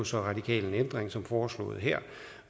så radikal ændring som foreslået her